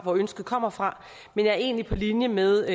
hvor ønsket kommer fra men jeg er egentlig på linje med